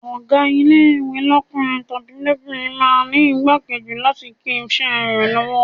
Ọ̀gá ilé-ìwé lọ́kùnrin tàbí lóbìnrin máa ń ní ìgbákejì láti lè kín iṣẹ́ rẹ lọ́wọ́.